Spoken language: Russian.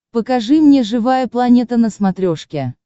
покажи мне живая планета на смотрешке